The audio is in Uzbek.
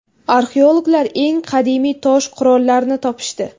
Arxeologlar eng qadimiy tosh qurollarni topishdi.